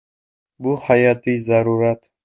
Bu hayotiy zarurat.